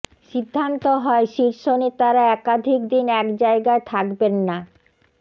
সিদ্ধান্ত হয় শীর্ষ নেতারা একাধিক দিন এক জায়গায় থাকবেন না